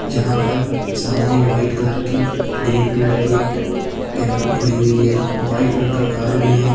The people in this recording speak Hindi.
जहां पर सामने व्हाइट कलर की ग्रीन कलर की एक टेम्पो खड़ी हुई है व्हाइट कलर का कार भी है।